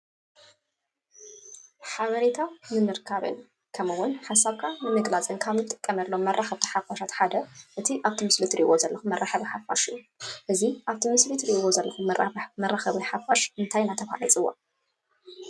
ሓበሬታ ንምርካብን ከምኡ እውን ሓሰብካ ንምግላፂን ካብ ንጥቀመሎም መራከብቲ ሓፋሽ ሓደ እቲ ኣብቲ ምስል ትርእዎ ዘለኩም መረከብ ሓፍሽ እዩ፤ እዚ ኣብቲ ምስሊ ትርእዎ ዘለኩም መረክብቲ ሓፋሽ እንታይ እዳተባሃለ ይፅዋዕ?